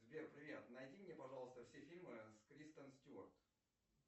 сбер привет найди мне пожалуйста все фильмы с кристен стюарт